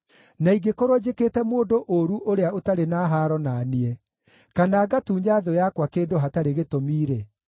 na ingĩkorwo njĩkĩte mũndũ ũũru ũrĩa ũtarĩ na haaro na niĩ, kana ngatunya thũ yakwa kĩndũ hatarĩ gĩtũmi-rĩ,